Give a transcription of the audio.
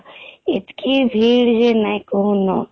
ଏତିକି ଭିଡ଼ ଯେ ନାଇଁ କହୁନ